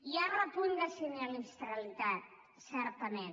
hi ha repunt de sinistralitat certament